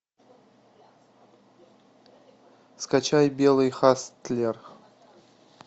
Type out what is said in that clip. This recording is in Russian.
скачай белый хастлер